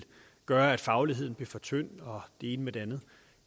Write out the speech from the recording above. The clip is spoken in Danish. gøre at fagligheden blev for tynd og det ene med det andet